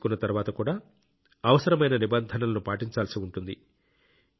టీకా తీసుకున్న తర్వాత కూడా అవసరమైన నిబంధనలను పాటించాల్సి ఉంటుంది